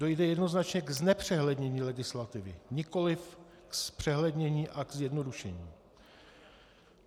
Dojde jednoznačně k znepřehlednění legislativy, nikoliv k zpřehlednění a k zjednodušení.